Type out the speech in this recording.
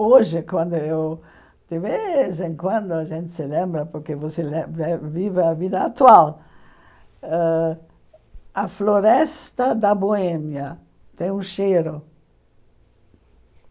Hoje, quando eu de vez em quando, a gente se lembra, porque você lé vé vive a vida atual, ãh a Floresta da Boêmia tem um cheiro.